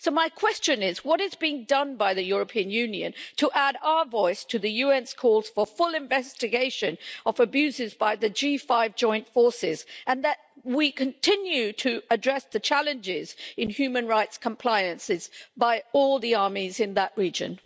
So my question is, what is being done by the European Union to add our voice to the UN's calls for full investigation of abuses by the G5 Joint Forces and that we continue to address the challenges in human rights compliances by all the armies in that region.